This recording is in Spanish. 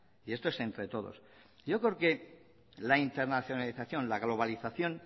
y esto es entre todos yo creo que la internacialización la globalización